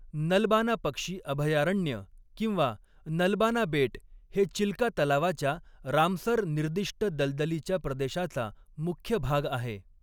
नलबाना पक्षी अभयारण्य किंवा नलबाना बेट हे चिलका तलावाच्या रामसर निर्दिष्ट दलदलीच्या प्रदेशाचा मुख्य भाग आहे.